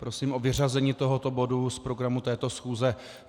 Prosím o vyřazení tohoto bodu z programu této schůze.